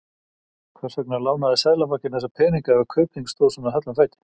Hvers vegna lánaði Seðlabankinn þessa peninga ef Kaupþing stóð svona höllum fæti?